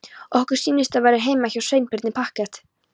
Okkur sýnist það vera heima hjá Sveinbirni parkett!